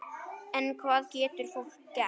En hvað getur fólk gert?